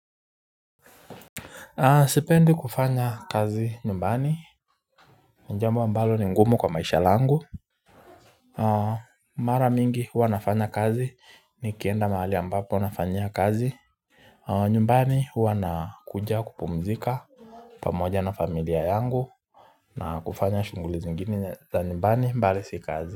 Sipendi kufanya kazi nyumbani ni jambo ambalo ni ngumu kwa maisha langu Mara mingi huwa nafanya kazi nikienda mahali ambapo nafanya kazi nyumbani wana kuja kupumzika pamoja na familia yangu na kufanya shuguli zingine za nyumbani bali si kazi.